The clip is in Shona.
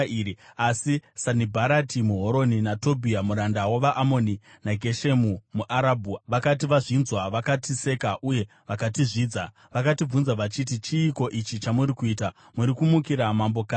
Asi Sanibharati muHoroni, naTobhia muranda wavaAmoni naGeshemu muArabhu vakati vazvinzwa, vakatiseka uye vakatizvidza. Vakatibvunza vachiti, “Chiiko ichi chamuri kuita? Muri kumukira mambo kanhi?”